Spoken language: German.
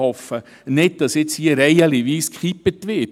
Ich hoffe nicht, dass nun reihenweise umgekippt wird.